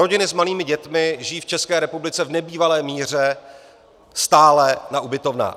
Rodiny s malými dětmi žijí v České republice v nebývalé míře stále na ubytovnách.